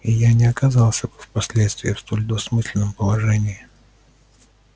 и я не оказался бы впоследствии в столь двусмысленном положении